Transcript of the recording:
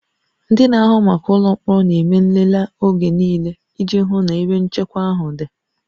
Ndị na-ahụ maka ụlọ mkpọrọ na-eme nlele oge niile iji hụ na ebe nchekwa ahụ dị